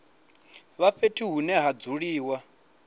wa fhethu hune ha dzuliwa